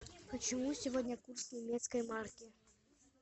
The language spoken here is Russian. почему сегодня курс немецкой марки